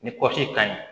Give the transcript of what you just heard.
Ni kɔsi kaɲi